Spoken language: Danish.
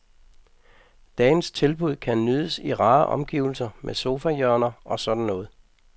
Dagens tilbud kan nydes i rare omgivelser med sofahjørner og sådan noget.